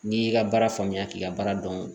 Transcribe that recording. N'i y'i ka baara faamuya k'i ka baara dɔn